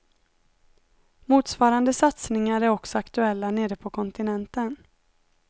Motsvarande satsningar är också aktuella nere på kontinenten.